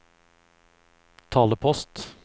talepost